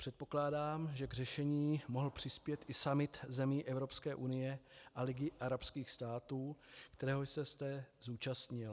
Předpokládám, že k řešení mohl přispět i summit zemí Evropské unie a Ligy arabských států, kterého jste se zúčastnil.